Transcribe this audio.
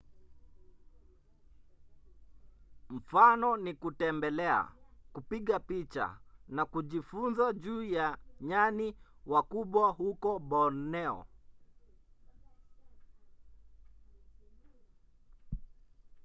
mfano ni kutembelea kupiga picha na kujifunza juu ya nyani wakubwa huko borneo